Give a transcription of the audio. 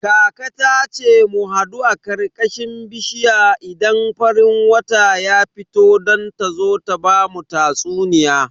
Kaka ta ce mu hadu a karkashin bishiya idan farin wata ya fito don ta zo ta bamu tatsuniya.